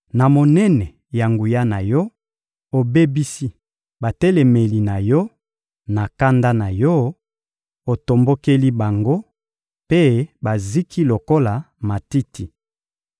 Na monene ya nguya na Yo, obebisi batelemeli na Yo; na kanda na Yo, otombokeli bango, mpe baziki lokola matiti.